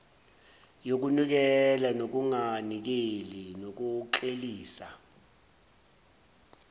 yokunikela nokunganikeli nokuklelisa